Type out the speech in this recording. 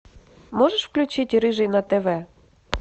можешь включить рыжий на тв